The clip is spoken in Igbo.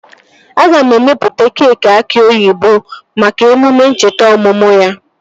Aga m emepụta keekị aki oyibo maka emume ncheta ọmụmụ ya